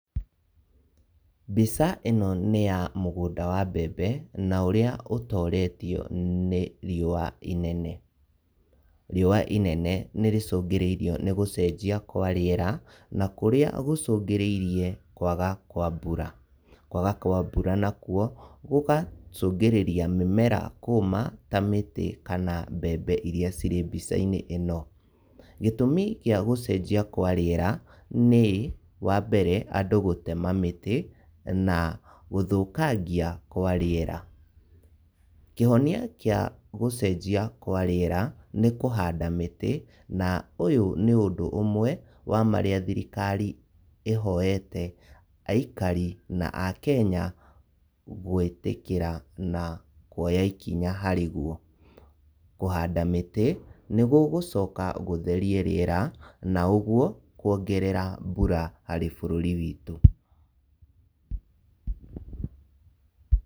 Mbica ĩno nĩya mũgũnda wa mbembe na ũrĩa ũtoretio nĩ riũa inene. Riũa inene nĩrĩcũngĩrĩirio nĩ gũcenjia kwa rĩera na kũrĩa gũcungĩrĩirie kwaga kwa mbura. Kwaga kwa mbura nakuo gũgacũngĩrĩria mĩmera kũma ta mĩtĩ kana mbembe iria irĩ mbica-inĩ ĩno. Gĩtũmi gia gũcenjia kwa rĩera nĩ, wa mbere, andũ gũtema mĩtĩ na gũthũkangia kwa rĩera. Kĩhonia kĩa gũcenjia kwa rĩera nĩ kũhanda mĩtĩ na ũyũ nĩ ũndũ ũmwe wa marĩa thirikari ĩhoyete aikari na Akenya gwĩtĩkĩra na kuoya ikinya harĩ guo. Kũhanda mĩtĩ nĩgũgũcoka gũtherie rĩera na ũguo kuongerera mbura harĩ bũrũri witũ.